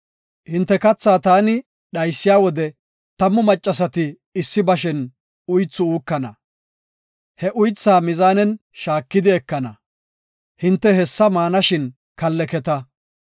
Hinte kathaa taani dhaysiya wode tammu maccasati issi beshen uythu uukana; he uythaa mizaanen shaakidi ekana; hinte hessa maana shin kalleketa.